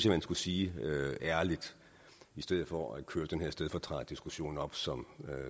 at man skulle sige ærligt i stedet for at man kører den her stedfortræderdiskussion op som